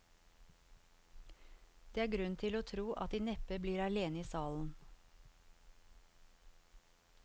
Det er grunn til å tro at de neppe blir alene i salen.